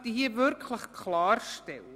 Das möchte ich wirklich klarstellen: